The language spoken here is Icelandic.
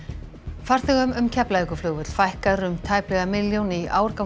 farþegum um Keflavíkurflugvöll fækkar um tæplega milljón í ár gangi